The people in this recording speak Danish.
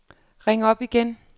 ring op igen